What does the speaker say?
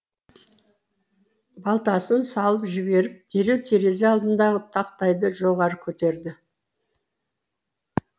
балтасын салып жіберіп дереу терезе алдындағы тақтайды жоғары көтерді